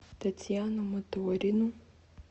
татьяну моторину